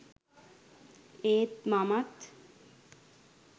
ඒත් මමත්